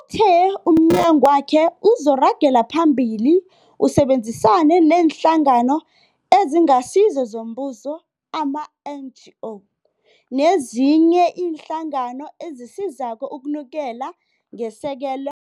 Uthe umnyagwakhe uzoragela phambili usebenzisane neeNhlangano eziNgasizo zoMbuso, ama-NGO, nezinye iinhlangano ezisizako ukunikela ngesekelo